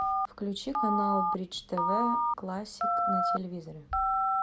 включи канал бридж тв классик на телевизоре